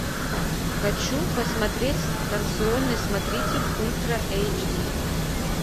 хочу посмотреть станционный смотритель ультра эйч ди